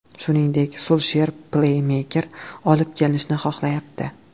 Shuningdek, Sulsher pleymeker olib kelinishini xohlayapti.